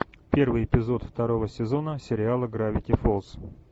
первый эпизод второго сезона сериала гравити фолз